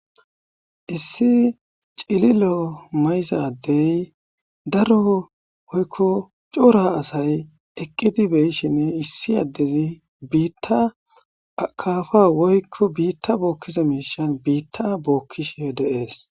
issi cililo mayzadey daro woykko cora asay eqqidi beyshinne issi addezi biitta kafa woykko biitta bookkiza miishan biitta bookkishhe deees